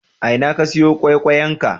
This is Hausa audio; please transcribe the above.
A ina ka sayo ƙwaiƙwayenka?